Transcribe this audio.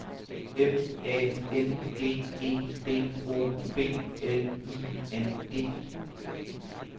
M A N G E D O B L I N G